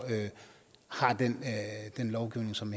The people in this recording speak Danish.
har den lovgivning som